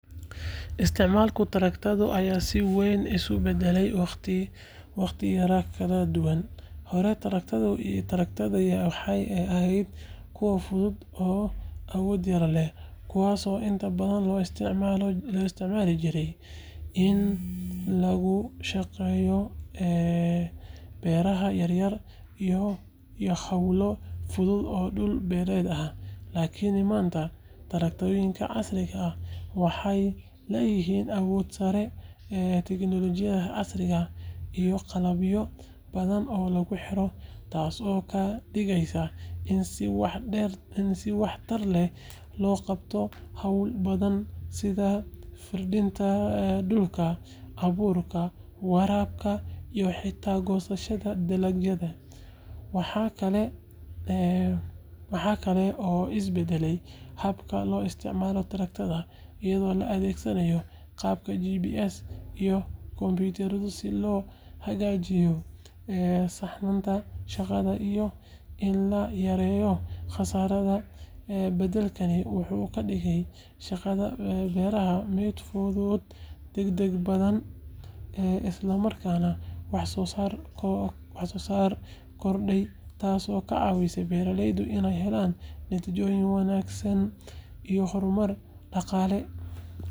Isticmaalka tractor-ka ayaa si weyn isu beddelay waqtiyada kala duwan. Hore, tractor-yada waxay ahaayeen kuwo fudud oo awood yar leh, kuwaas oo inta badan loo isticmaali jiray in lagu shaqeeyo beeraha yaryar iyo hawlo fudud oo dhul-beereed ah. Laakiin maanta, tractor-yada casriga ah waxay leeyihiin awood sare, tiknoolajiyad casri ah, iyo qalabyo badan oo lagu xiro, taas oo ka dhigaysa in si waxtar leh loo qabto hawlo badan sida firdhinta dhulka, abuurista, waraabka, iyo xitaa goosashada dalagyada. Waxaa kale oo isbedelay habka loo isticmaalo tractor-ka iyadoo la adeegsanayo qalabka GPS iyo kombiyuutar si loo hagaajiyo saxnaanta shaqada iyo in la yareeyo khasaaraha. Bedelkaani wuxuu ka dhigay shaqada beeraha mid fudud, degdeg badan, isla markaana wax-soo-saarka kordhay, taasoo ka caawisay beeraleyda inay helaan natiijooyin wanaagsan iyo horumar dhaqaale.